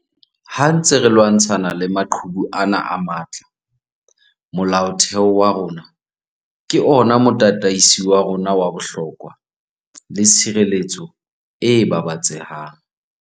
Ha re ntse re lwantshana le maqhubu ana a matla, Molaotheo wa rona ke ona motataisi wa rona wa bohlokwa le tshireletso e babatsehang.